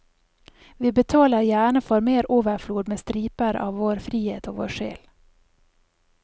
Vi betaler gjerne for mer overflod med striper av vår frihet og vår sjel.